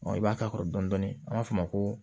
i b'a k'a kɔrɔ dɔni an b'a fɔ o ma ko